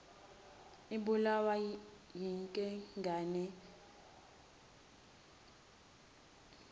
ibulawa yinkengane isimze